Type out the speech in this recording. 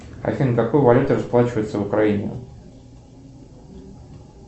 афина какой валютой расплачиваются в украине